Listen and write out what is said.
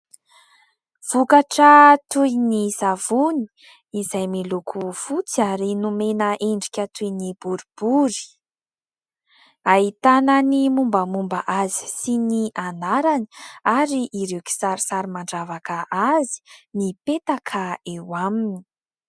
Vokatra toy ny savony izay miloko votsy ary nomena endrika toy ny boribory. Ahitàna ny mombamomba azy sy ny anarany, ary ireo kisarisary mandravaka azy mipetaka eo aminy.